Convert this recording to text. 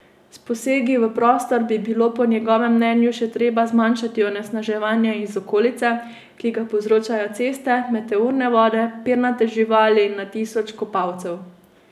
S posegi v prostor bi bilo po njegovem mnenju še treba zmanjšati onesnaževanje iz okolice, ki ga povzročajo ceste, meteorne vode, pernate živali in na tisoče kopalcev.